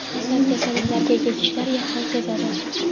asab kasalliklarga ega kishilar yaqqol sezadi.